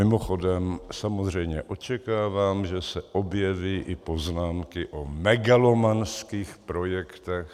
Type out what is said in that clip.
Mimochodem samozřejmě očekávám, že se objeví i poznámky o megalomanských projektech.